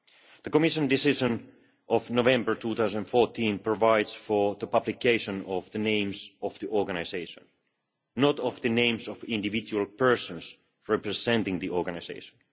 The Commission decision of November 2014 provides for the publication of the name of the organisation, not of the names of individual persons representing the organisation.